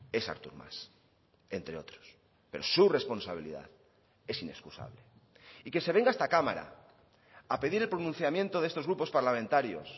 es artur mas entre otros pero su responsabilidad es inexcusable y que se venga a esta cámara a pedir el pronunciamiento de estos grupos parlamentarios